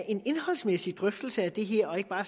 en indholdsmæssig drøftelse af det her og ikke bare